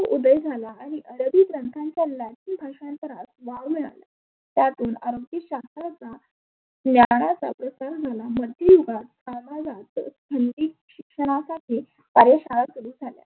उदय झाला आणि आरबी ग्रंथांना लॅटीन भाषेत वाव मिळायला लागला. त्यातुन आसबी शास्त्राच्या ज्ञानाचा प्रसार झाला. शिक्षनासारखे कार्य शाळा सुरु झाल्या.